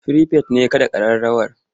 Firifet ne ya kaɗa ƙararrawa.